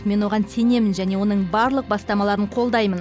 мен оған сенемін және оның барлық бастамаларын қолдаймын